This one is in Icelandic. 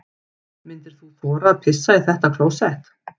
Myndir þú þora að pissa í þetta klósett?